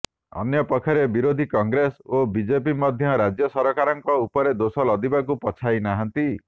ଅନ୍ୟପକ୍ଷରେ ବିରୋଧୀ କଂଗ୍ରେସ୍ ଓ ବିଜେପି ମଧ୍ୟ ରାଜ୍ୟ ସରକାରଙ୍କ ଉପରେ ଦୋଷ ଲଦିବାକୁ ପଛାଇନାହାନ୍ତି